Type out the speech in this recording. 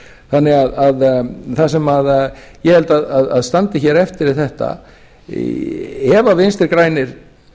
þannig að það sem ég held að standi hér eftir er þetta ef vinstri grænir